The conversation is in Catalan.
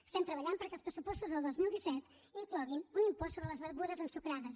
estem treballant perquè els pressupostos del dos mil disset incloguin un impost sobre les begudes ensucrades